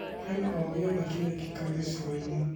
Kwĩna o gĩothe kĩrekĩka Gĩcũa-inĩ ?